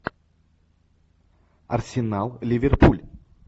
арсенал ливерпуль